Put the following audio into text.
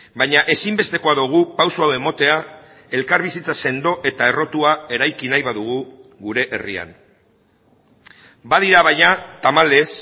baina ezinbestekoa dugu pausu hau ematea elkarbizitza sendo eta errotua eraiki nahi badugu gure herrian badira baina tamalez